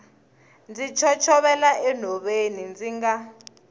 ndzi chochovela enhoveni ndzi nga